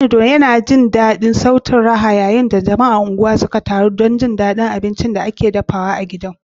Calido, yana jiyo sautin raha yayin da jama'ar unguwar suka taru don jin daɗin abincin da ake dafawa a gidan.